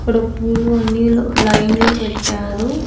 ఇక్కడ పూలు అన్నీ లు లైన్ లో పెట్టారు.